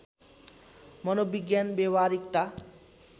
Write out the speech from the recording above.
मनोविज्ञान व्यवहारिकता